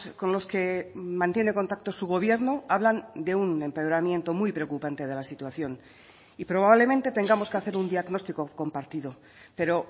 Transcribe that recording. con los que mantiene contacto su gobierno hablan de un empeoramiento muy preocupante de la situación y probablemente tengamos que hacer un diagnóstico compartido pero